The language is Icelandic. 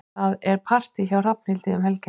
Það er partí hjá Hrafnhildi um helgina.